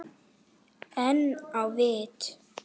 En á vit